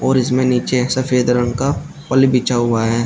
और इसमें नीचे एक सफेद रंग का बिछा हुआ है।